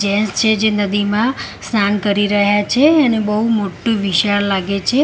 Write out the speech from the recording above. Gents છે જે નદીમાં સ્નાન કરી રહ્યા છે અને બઉ મોટુ વિશાળ લાગે છે.